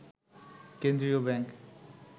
কেন্দ্রীয় ব্যাংক